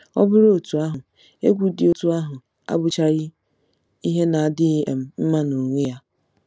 Ọ bụrụ otú ahụ, egwu dị otú ahụ abụchaghị ihe na-adịghị um mma n'onwe ya.